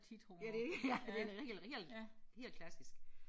Ja det ja det den helt helt klassiske